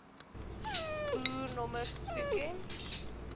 boer nommers toeken